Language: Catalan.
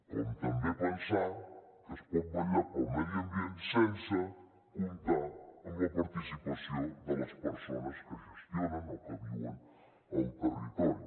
com també pensar que es pot vetllar pel medi ambient sense comptar amb la participació de les persones que gestionen o que viuen al territori